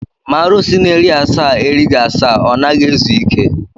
Ma arụsi na-eri asaa erighị asaa, ọ naghị ezu ike.